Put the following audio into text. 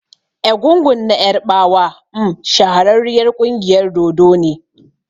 Egungun na ƴarbawa m shahararriyar ƙungiyar dodo ne.